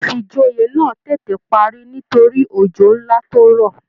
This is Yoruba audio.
Ifíjòyè náà tètè parí nítorí òjò nlá tó rọ̀.